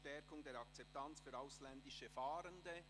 Stärkung der Akzeptanz für ausländische Fahrende».